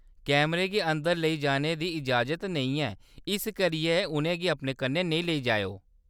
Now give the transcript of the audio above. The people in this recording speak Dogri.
कैमरें गी अंदर लेई जाने दी इजाज़त नेईं ऐ इस करियै उʼनें गी अपने कन्नै नेईं लेई जाएओ ।